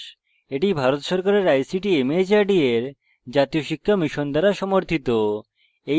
এটি ভারত সরকারের ict mhrd এর জাতীয় শিক্ষা mission দ্বারা সমর্থিত